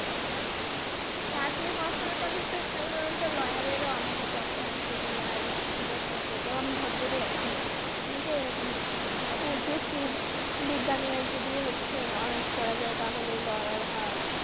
Arts নিয়ে পড়াশোনা করলে তো সাধারণত lawyer এরও একটা অপশন আছে আছে যে lawyer এর চাকরিটাও ওখানে ওটাও অনেক betar option অনেকেই এরকম আর্টস নিয়ে পড়াশোনা করে যুক্তিবিদ্যা নিয়ে যদি হচ্ছে অনার্স করা যায় তাহলে lawyer হওয়ার।